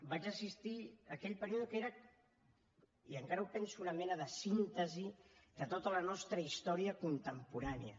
vaig assistir a aquell període que era i encara ho penso una mena de síntesi de tota la nostra història contemporània